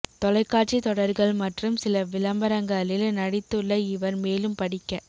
தொலைக்காட்சி தொடர்கள் மற்றும் சில விளம்பரங்களில் நடித்துள்ள இவர் மேலும் படிக்க